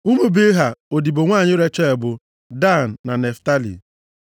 Ụmụ Bilha, odibo nwanyị Rechel bụ, Dan na Naftalị.